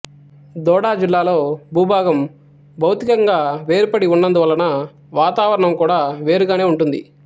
దోడా జిల్లాలో భూభాభాగం భౌతికంగా వేరుపడి ఉన్నందువలన వాతావరణం కూడా వేరుగానే ఉంటుంది